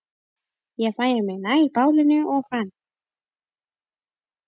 Ég færði mig nær bálinu og fann